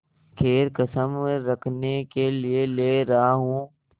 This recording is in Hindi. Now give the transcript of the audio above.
खैर कसम रखने के लिए ले रहा हूँ